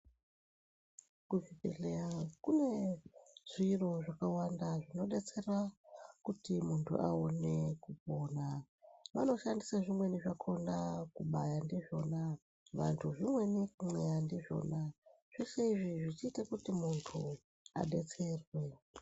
Kuzvibhedhleya kune zviro zvakawanda zvinodetsera kuti muntu aone kupona, vanoshandisa zvimweni zvakona kubaya ndizvona vantu zvimweni kumweya ndizvona, zvese izvi zvichiite kuti muntu adetserwe.